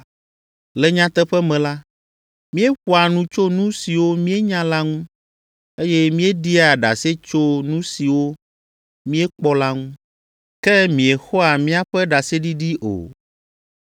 Le nyateƒe me la, míeƒoa nu tso nu siwo míenya la ŋu, eye míeɖia ɖase tso nu siwo míekpɔ la ŋu, ke miexɔa míaƒe ɖaseɖiɖi o.